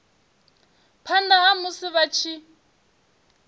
phanda ha musi vha tshi